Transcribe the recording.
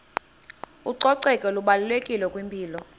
ucoceko lubalulekile kwimpilo